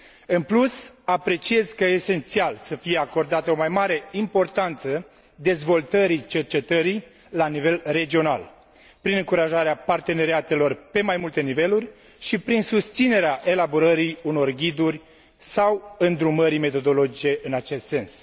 În plus, consider că esențial să fie acordată o mai mare importanță dezvoltării cercetării la nivel regional, prin încurajarea parteneriatelor pe mai multe niveluri și prin susținerea elaborării unor ghiduri sau îndrumări metodologice în acest sens.